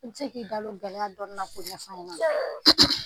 I ne se k'i da don gɛlɛya dɔɔnina k'o ɲɛfɔ ani ɲɛna ?